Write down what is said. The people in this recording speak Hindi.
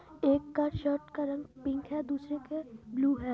एक का शर्ट का रंग पिंक है दुसरे का ब्लू है।